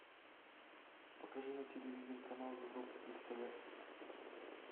покажи на телевизоре канал европа плюс тв